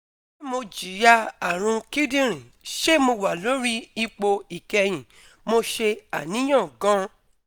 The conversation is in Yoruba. Se mo jiya arun kidirin? Se mo wa lori ipo ikehin? Mo se aniyan gan